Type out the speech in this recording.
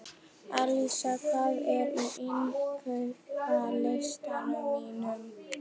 Alísa, hvað er á innkaupalistanum mínum?